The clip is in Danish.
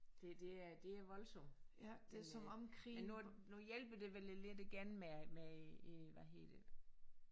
Det det er det er voldsom men øh men nu nu hjælper det vel lidt igen med med øh hvad hedder det